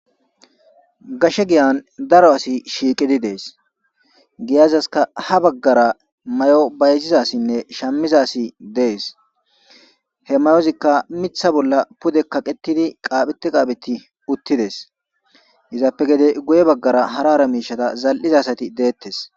gashe giyan daro asi shiiqidi dees giyazaska ha baggara may7o bayzizasinne shammizasi dees he mayozikka mitha bolla pudekkaqetidi qaaphete qaapheti uttides izappe gede guye baggara harara miishata zal7izasati deettes